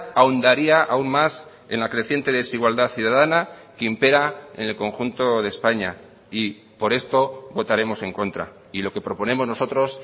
ahondaría aún más en la creciente desigualdad ciudadana que impera en el conjunto de españa y por esto votaremos en contra y lo que proponemos nosotros